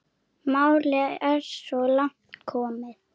Málið er svo langt komið.